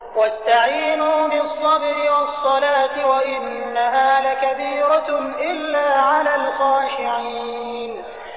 وَاسْتَعِينُوا بِالصَّبْرِ وَالصَّلَاةِ ۚ وَإِنَّهَا لَكَبِيرَةٌ إِلَّا عَلَى الْخَاشِعِينَ